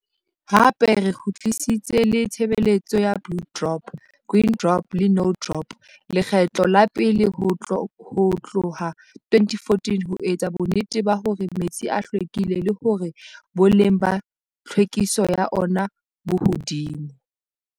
Hape re kgutlisitse le tshebeletso ya Blue Drop, Green Drop le No Drop lekgetlo la pele ho tlohka 2014 ho etsa bonnete ba hore metsi a hlwekile le hore boleng ba tlhwekiso ya ona bo hodimo.